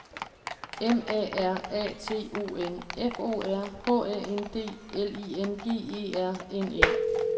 M A R A T O N F O R H A N D L I N G E R N E